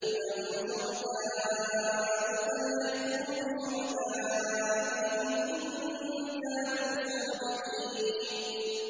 أَمْ لَهُمْ شُرَكَاءُ فَلْيَأْتُوا بِشُرَكَائِهِمْ إِن كَانُوا صَادِقِينَ